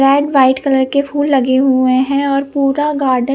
red white colour के फूल लगे हुए है और पुरा गार्डेन --